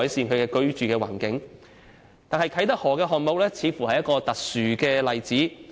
不過，啟德河項目似乎是一個特殊例子。